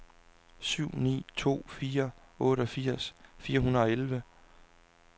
syv ni to fire otteogfirs fire hundrede og elleve